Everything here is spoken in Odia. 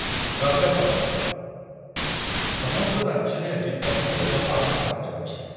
ରଜପର୍ବ, ସମଗ୍ର ରାଜ୍ୟରେ ଆଜି ପହିଲି ରଜ ପାଳନ କରାଯାଉଛି ।